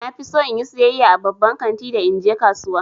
Na fi so in yi sayayya a babban kanti da in je kasuwa.